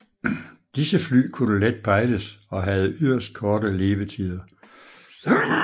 Disse fly kunne let pejles og havde yderst korte levetider